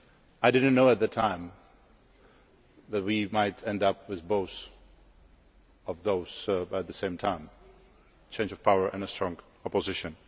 I did not know at that time that we might end up with both of those at the same time a change of power and a strong opposition.